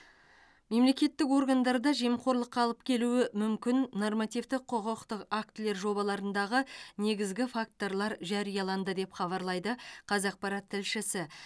мемлекеттік органдарда жемқорлыққа алып келуі мүмкін нормативтік құқықтық актілер жобаларындағы негізгі факторлар жарияланды деп хабарлайды қазақпарат тілшісі